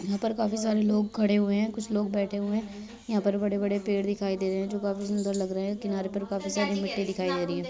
यहाँ पर काफी सारे लोग खड़े हुए हैं। कुछ लोग बैठे हुए हैं। यहाँ पर बड़े-बड़े पेड़ दिखाई दे रहे हैं जो काफी सुंदर लग रहे हैं। किनारे पर काफी सारी मिट्टी दिखाई दे रही है।